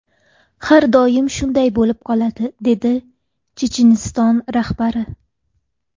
Har doim shunday bo‘lib qoladi”, dedi Checheniston rahbari.